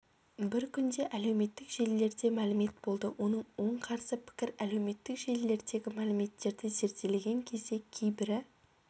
бір күнде әлеуметтік желілерде мәлімет болды оның оң қарсы пікір әлеуметтік желілердегі мәліметтерді зерделеген кезде кейбірі